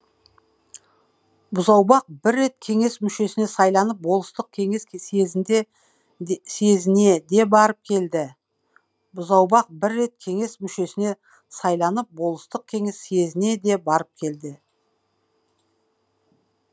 бұзаубақ бір рет кеңес мүшесіне сайланып болыстық кеңес съезіне де барып келді бұзаубақ бір рет кеңес мүшесіне сайланып болыстық кеңес съезіне де барып келді